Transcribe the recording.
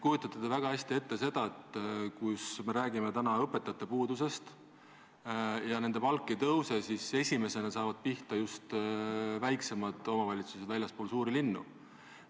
Küllap te kujutate väga hästi ette, et kui me räägime täna õpetajate puudusest ja nende palk ei tõuse, siis esimesena saavad pihta just väiksemad omavalitsused väljaspool suuri linnu.